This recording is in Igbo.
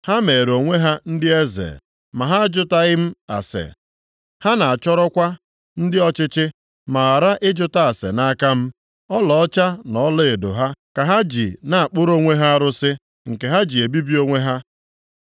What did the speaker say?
Ha meere onwe ha ndị eze, ma ha ajụtaghị m ase; ha na-achọrọkwa ndị ọchịchị, + 8:4 Ya bụ, ụmụ eze ma ghara ịjụta ase nʼaka m. Ọlaọcha na ọlaedo ha ka ha ji na-akpụrụ onwe ha arụsị, nke ha ji ebibi onwe ha.